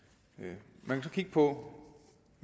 man kunne så kigge på